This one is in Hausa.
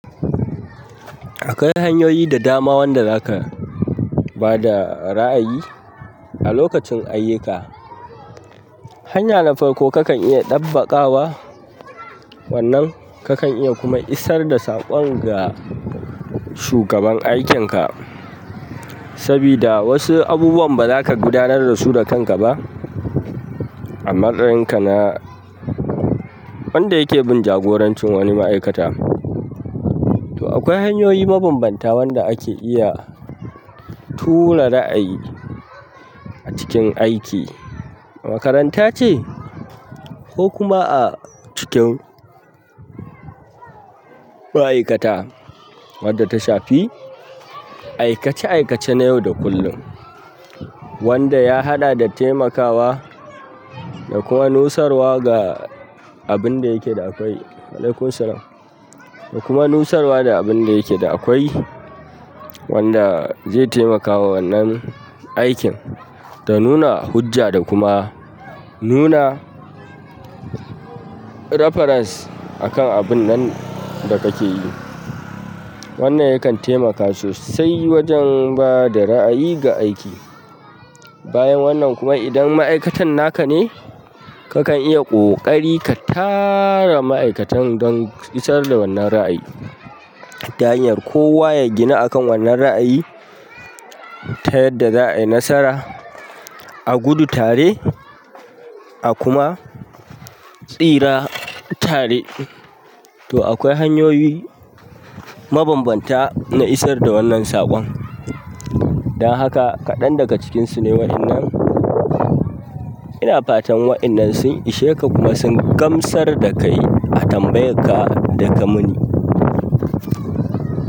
Akwai hanyoyi da dama wanda zaka ba da ra'ayi a lokacin ayyuka. Hanya na farko kakan iya dabbakawa, wannan kakan iya kuma isar da saƙon ga shugaban aikinka. Saboda wasu abubuwan baza ka gudanar da su da kanka ba. A matsayinka na wanda yake bin jagorancin wani ma'aikata. To akwai hanyoyi mabambanta wanda ake iya tura ra'ayi a cikin aiki. A makaranta ce ko kuma a cikin ma'aikata wadda ta shafi aikace aikace na yau da kullum. Wanda ya haɗa da taimakawa da kuma nusarwa ga abun da yake da akwai. Wa'alaikum salam. Da kuma nusarwa da abun da yake da akwai wanda zai taimakawa wannan aikin. Da nuna hujja da kuma nuna reference akan abun nan da kake yi. Wannan yakan taimaka sosai wajen bada ra'ayi ga aiki. Bayan wannan kuma idan ma'aikatan naka ne, kakan iya ƙoƙari ka tara ma'aikatan don isar da wannan ra'ayi. Ta hanyar kowa ya gina akan wannan ra'ayi ta yadda za a yi nasara a gudu tare a kuma tsira tare. To akwai hanyoyi mabambanta na isar da wannan saƙon. Dan haka kaɗan daga cikinsu ne waɗannan. Ina fatan waɗannan sun ishe ka kuma sun gamsar da kai a tambayar ka da ka mun.